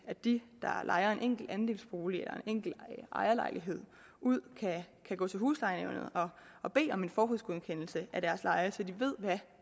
at de der lejer en enkelt andelsbolig eller en enkelt ejerlejlighed ud kan gå til huslejenævnet og bede om en forhåndsgodkendelse af deres leje så de ved hvad